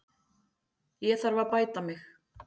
Ég þarf að bæta mig.